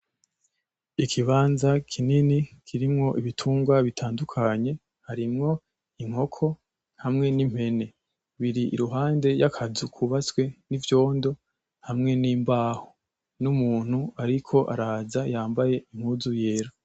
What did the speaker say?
Ikibanza kinini kirimwo ibitungwa bitandukanye harimwo inkoko; hamwe n'impene, biri iruhande y'akazu kubatse n'ivyondo; hamwe n'imbaho; n'umuntu ariko araza yambaye impuzu yera.